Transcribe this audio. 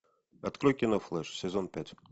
открой кино флеш сезон пять